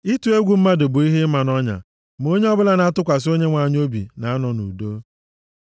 Ịtụ egwu mmadụ bụ ihe ịma nʼọnya, ma onye ọbụla na-atụkwasị Onyenwe anyị obi na-anọ nʼudo.